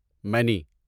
many